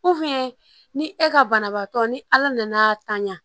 ni e ka banabaatɔ ni ala nana tan ɲa